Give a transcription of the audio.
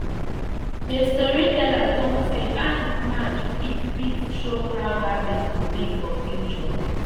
the storyteller talk say ant march fit fit show how harvest go be for future